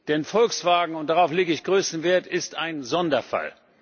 Denn Volkswagen und darauf lege ich größten Wert ist ein Sonderfall.